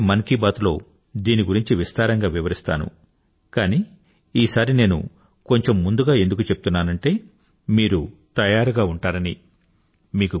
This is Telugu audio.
రాబోయే మన్ కీ బాత్ లో దీని గురించి విస్తారంగా వివరిస్తాను కానీ ఈసారి నేను కొంచెం ముందుగా ఎందుకు చెప్తున్నానంటే మీరు తయారుగా ఉంటారని